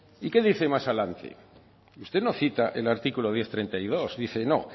y qué dice más adelante usted no cita el artículo diez punto treinta y dos dice no